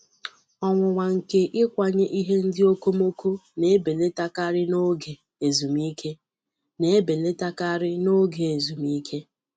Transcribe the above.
Ọnwụnwa nke ịkwanye ihe ndị okomoko na-ebilitekarị n'oge ezumike. na-ebilitekarị n'oge ezumike.